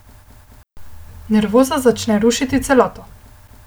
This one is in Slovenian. Nervoza začne rušiti celoto.